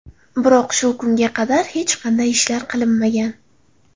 Biroq shu kunga qadar hech qanday ishlar qilinmagan.